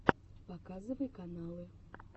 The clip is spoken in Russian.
показывай каналы